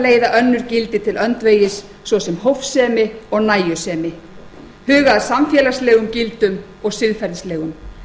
leiða önnur gildi til öndvegis svo sem hófsemi og nægjusemi huga að samfélagslegum gildum og siðferðislegum